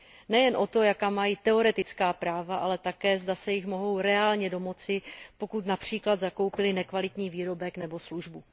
Nejen o to, jaká mají teoretická práva, ale také, zda se jich mohou reálně domoci, pokud například zakoupili nekvalitní výrobek nebo službu.